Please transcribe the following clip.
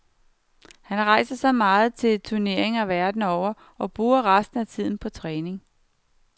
Han rejser så meget til turneringer verden over og bruger resten af tiden på træning.